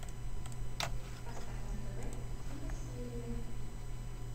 поставь на тв киносерия